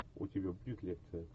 у тебя будет лекция